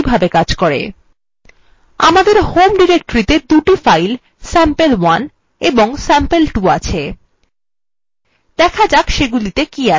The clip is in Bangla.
দেখা যাক cmp কিভাবে cmp করে আমাদের home ডিরেক্টরিতে দুটো files sample1 এবং sample2 আছে